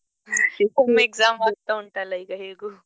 exam ಆಗ್ತಾ ಉಂಟಲ್ಲ ಈಗ ಹೇಗೂ.